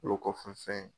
O kɔfɛ fɛn ye